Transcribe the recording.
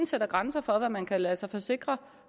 sætter grænser for hvad man kan lade sig forsikre